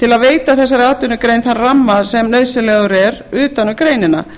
til að veita þessari atvinnugrein þann ramma sem nauðsynlegur er utan um greinina